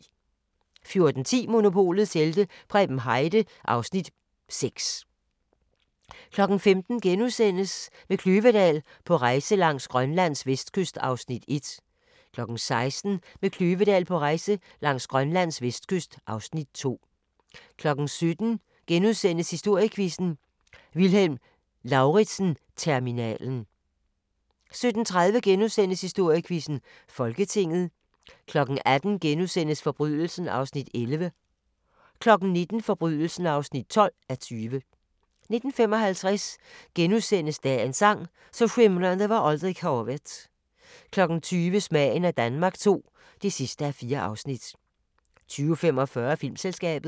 14:10: Monopolets helte - Preben Heide (Afs. 6) 15:00: Med Kløvedal på rejse langs Grønlands vestkyst (Afs. 1)* 16:00: Med Kløvedal på rejse langs Grønlands vestkyst (Afs. 2) 17:00: Historiequizzen: Vilhelm Lauritzen-terminalen * 17:30: Historiequizzen: Folketinget * 18:00: Forbrydelsen (11:20)* 19:00: Forbrydelsen (12:20) 19:55: Dagens sang: Så skimrande var aldrig havet * 20:00: Smagen af Danmark II (4:4) 20:45: Filmselskabet